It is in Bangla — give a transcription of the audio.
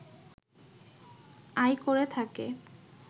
আয় করে থাকে